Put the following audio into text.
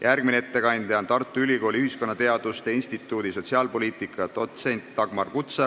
Järgmine ettekandja on Tartu Ülikooli ühiskonnateaduste instituudi sotsiaalpoliitika dotsent Dagmar Kutsar.